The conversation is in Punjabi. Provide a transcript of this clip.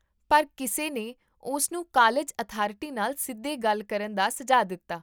ਪਰ, ਕਿਸੇ ਨੇ ਉਸ ਨੂੰ ਕਾਲਜ ਅਥਾਰਟੀ ਨਾਲ ਸਿੱਧੇ ਗੱਲ ਕਰਨ ਦਾ ਸੁਝਾਅ ਦਿੱਤਾ